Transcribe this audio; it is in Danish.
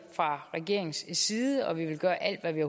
fra regeringens side og vi vil gøre alt hvad vi